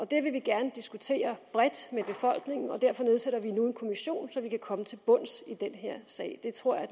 det vil vi gerne diskutere bredt med befolkningen og derfor nedsætter vi nu en kommission så vi kan komme til bunds i den her sag det tror jeg